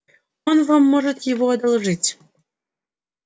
он вам может его одолжить